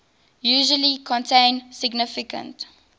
usually contain significant